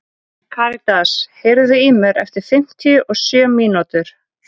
Karítas, heyrðu í mér eftir fimmtíu og sjö mínútur.